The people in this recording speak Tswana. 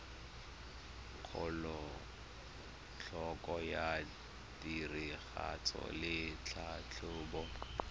kelotlhoko ya tiragatso le tlhatlhobo